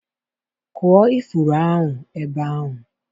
kụọ ifuru ahụ ebe ahụ!